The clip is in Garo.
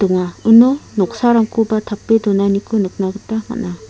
uno noksarangkoba tape donanikoba nikna gita man·a.